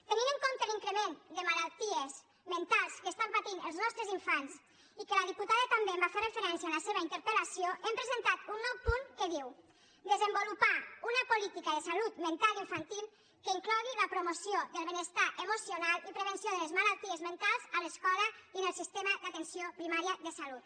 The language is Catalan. tenint en compte l’increment de malalties mentals que estan patint els nostres infants i que la diputada també hi va fer referència en la seva interpelnou punt que diu desenvolupar una política de salut mental infantil que inclogui la promoció del benestar emocional i prevenció de les malalties mentals a l’escola i en el sistema d’atenció primària de salut